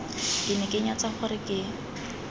ke ne ke nyatsa gore